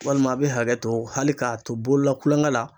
Walima a bɛ hakɛ to hali k'a to bolola kulonkɛ la.